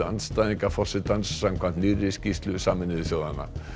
andstæðinga forsetans samkvæmt nýrri skýrslu Sameinuðu þjóðanna